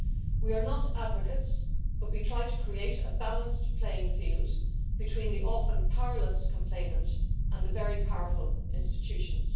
We are not advocates, but we try to create a balanced playing field between the often powerless complainant and the very powerful institutions.